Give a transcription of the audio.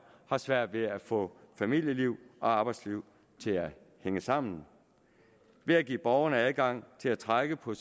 har svært ved at få familieliv og arbejdsliv til at hænge sammen ved at give borgerne adgang til at trække på